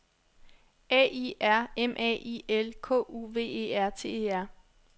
A I R M A I L K U V E R T E R